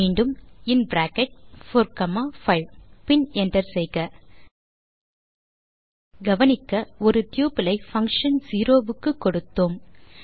மீண்டும் இன் bracket 4 comma 5 பின் என்டர் செய்க கவனிக்க ஒரு டப்பிள் ஐ பங்ஷன் செரோஸ் க்கு கொடுத்தோம்